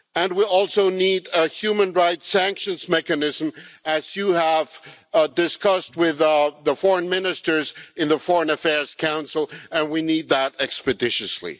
We also need a human rights sanctions mechanism, as you have discussed with the foreign ministers in the Foreign Affairs Council, and we need that expeditiously.